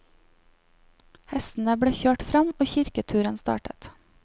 Hestene ble kjørt fram, og kirketuren startet.